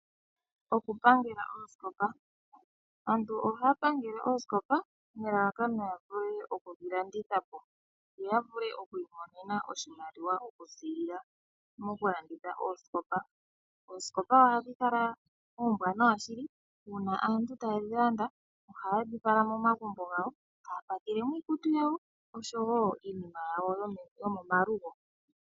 Okupangela oosikopa ,aantu ohaa pangele oosikopa nelalakano ya vule okudhilandithapo yo ya vule okwiimonena oshimaliwa okuziilila mokulanditha oosikopa .Oosikopa ohadhi kala oombwaanawa shili uuna aantu tayedhi landa nohayedhi fala momagumbo gawo eta ngula mo iikutu yawo oshowo iinima yawo yomomalugo.